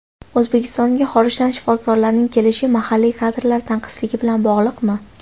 O‘zbekistonga xorijdan shifokorlarning kelishi mahalliy kadrlar tanqisligi bilan bog‘liqmi?